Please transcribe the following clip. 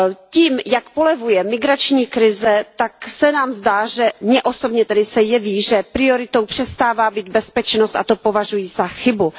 Tím, jak polevuje migrační krize, tak se nám zdá, mně osobně tedy se jeví, že prioritou přestává být bezpečnost, a to považuji za chybu.